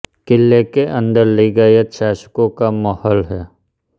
किले के अंदर लिंगायत शासकों का महल है